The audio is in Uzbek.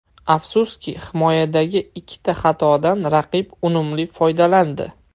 Afsuski, himoyadagi ikkita xatodan raqib unumli foydalandi.